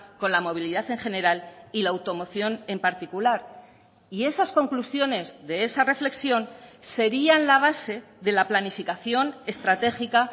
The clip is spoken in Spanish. con la movilidad en general y la automoción en particular y esas conclusiones de esa reflexión serían la base de la planificación estratégica